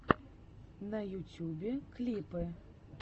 на ютюбе клипы